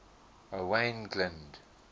owain glynd